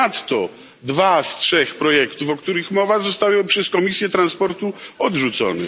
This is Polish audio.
Ponadto dwa z trzech projektów, o których mowa, zostały przez Komisję Transportu odrzucone.